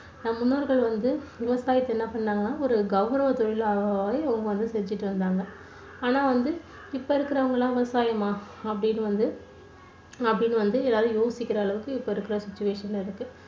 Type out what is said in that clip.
நம்ம முன்னோர்கள் வந்து விவசாயத்தை என்ன பண்ணாங்கன்னா ஒரு கௌரவ தொழிலாக அவங்க வந்து செஞ்சிட்டு வந்தாங்க ஆனா வந்து இப்போ இருக்கறவங்க எல்லாம் விவசாயமா? அப்டின்னு வந்து அப்டின்னு வந்து எதாவது யோசிக்கிற அளவுக்கு இப்போ இருக்குற situation ல இருக்கு